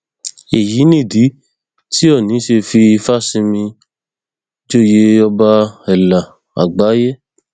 èyí nìdí tí òónì ṣe fi ìfásinmì joyè ọba ẹlà àgbáyé